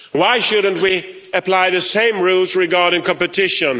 Why shouldn't we apply the same rules regarding competition?